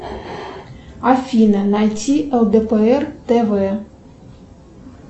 афина найти лдпр тв